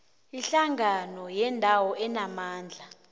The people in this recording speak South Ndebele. ihlangano yendawo enamandla